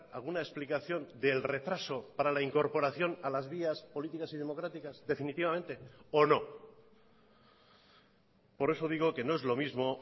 alguna explicación del retraso para la incorporación a las vías políticas y democráticas definitivamente o no por eso digo que no es lo mismo